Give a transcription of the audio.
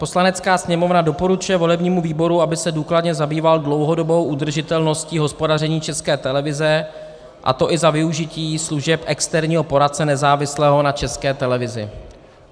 Poslanecká sněmovna doporučuje volebnímu výboru, aby se důkladně zabýval dlouhodobou udržitelností hospodaření České televize, a to i za využití služeb externího poradce nezávislého na České televizi."